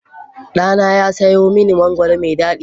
Ɗana ya sayo mani mangwaro mai daɗi.